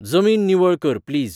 जमीन निवळ कर प्लीज